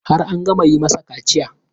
Har an gama yi masa kaciyan?